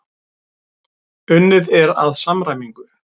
Unnið er að samræmingu.